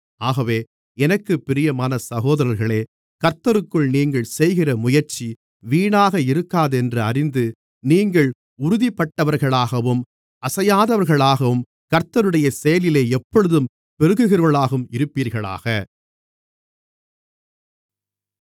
ஆகவே எனக்குப் பிரியமான சகோதரர்களே கர்த்தருக்குள் நீங்கள் செய்கிற முயற்சி வீணாக இருக்காதென்று அறிந்து நீங்கள் உறுதிப்பட்டவர்களாகவும் அசையாதவர்களாகவும் கர்த்தருடைய செயலிலே எப்பொழுதும் பெருகுகிறவர்களாகவும் இருப்பீர்களாக